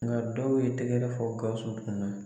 Nga dɔw ye tɛgɛrɛ fɔ GAWUSU kunna.